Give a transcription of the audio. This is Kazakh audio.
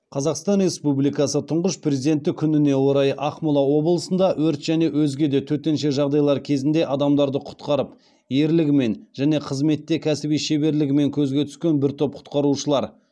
қазақстан республикасы тұңғыш президенті күніне орай ақмола облысында өрт және өзге де төтенше жағдайлар кезінде адамдарды құтқарып ерлігімен және қызметте кәсіби шеберлегімен көзге түскен бір топ құтқарушылар